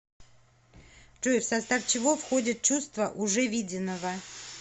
джой в состав чего входит чувство уже виденного